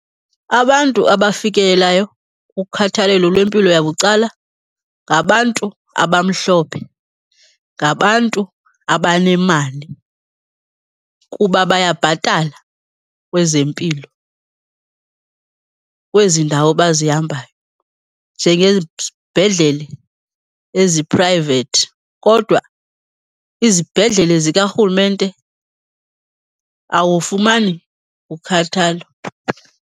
Abantu abafikelelayo kukhathalelo lwempilo yabucala ngabantu abamhlophe, ngabantu abanemali kuba bayabhatala kwezempilo kwezi ndawo bazihambayo njengezibhedlele eziphrayivethi. Kodwa izibhedlele zikarhulumenete, awufumani kukhathalwa.